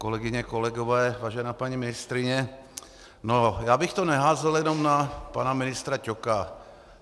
Kolegyně, kolegové, vážená paní ministryně, já bych to neházel jenom na pana ministra Ťoka.